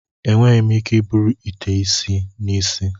Enweghị m ike iburu ite isi n'isi.